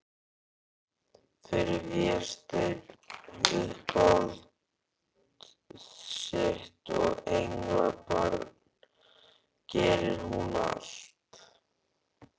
Fyrir Véstein, uppáhald sitt og englabarn, gerir hún allt.